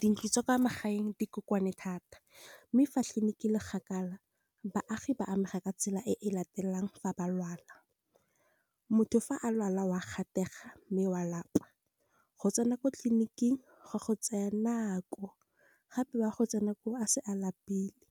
dintlu tsa kwa magaeng dikoane thata, mme fa tleliniki e le kgakala, baagi ba amega ka tsela e latelang fa ba lwala. Motho fa a lwala wa gatega mme wa lapa, go tsena ko tleliniking go go tsaya nako, gape wa go tsena ko a se a lapile.